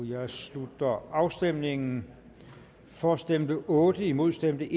her slutter afstemningen for stemte otte imod stemte